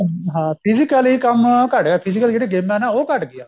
ਹਮ ਹਾਂ physically ਕੰਮ ਘੱਟ ਗਿਆ physically ਜਿਹੜੀ ਗੇਮਾ ਨਾ ਉਹ ਘੱਟ ਗਈਆਂ